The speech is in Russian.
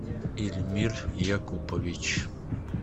ильмир якупович